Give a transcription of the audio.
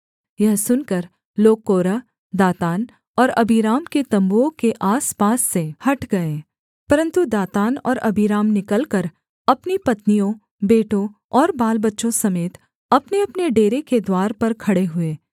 यह सुनकर लोग कोरह दातान और अबीराम के तम्बुओं के आसपास से हट गए परन्तु दातान और अबीराम निकलकर अपनी पत्नियों बेटों और बालबच्चों समेत अपनेअपने डेरे के द्वार पर खड़े हुए